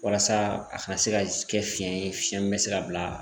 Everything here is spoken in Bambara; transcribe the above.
Walasa a ka se ka kɛ fiyɛn ye fiyɛn min bɛ se ka bila